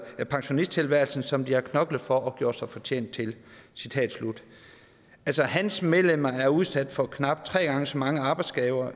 pensionisttilværelse som de har knoklet for og gjort sig fortjent til altså hans medlemmer er udsat for knap tre gange så mange arbejdsskader